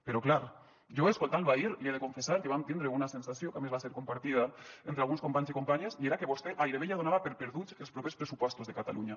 però clar jo escoltant lo ahir li he de confessar que vam tindre una sensació que a més va ser compartida entre alguns companys i companyes i era que vostè gairebé ja donava per perduts els propers pressupostos de catalunya